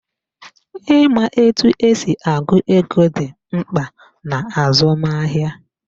Ịma etu esi agụ ego dị mkpa n'azụmahịa